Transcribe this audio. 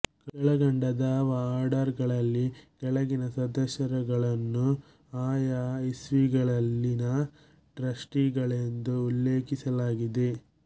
ಕೆಳಕಂಡ ದಾವಾ ಆರ್ಡರ್ ಗಳಲ್ಲಿ ಕೆಳಗಿನ ಸದಸ್ಯರುಗಳನ್ನು ಆಯಾ ಇಸ್ವಿಗಳಲ್ಲಿನ ಟ್ರಸ್ಟಿಗಳೆಂದು ಉಲ್ಲೇಖಿಸಲಾಗಿದೆ